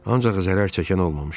Ancaq zərər çəkən olmamışdı.